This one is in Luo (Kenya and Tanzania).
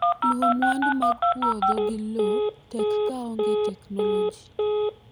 luwo mwandu mag puodho/lowo tek ka onge technology